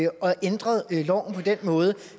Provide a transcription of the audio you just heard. og ændret loven på den måde